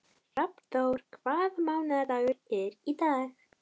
Hrafnþór, hvaða mánaðardagur er í dag?